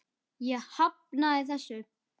Ég hafnaði þessu.